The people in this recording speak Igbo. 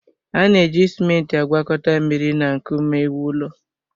A na-eji simenti agwakọta mmiri na nkume ewu ụlọ